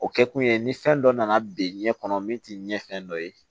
O kɛ kun ye ni fɛn dɔ nana bin ɲɛ kɔnɔ min tɛ ɲɛ fɛn dɔ ye